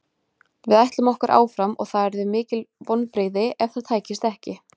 Við ætlum okkur áfram og það yrðu mikil vonbrigði ef það tækist ekki.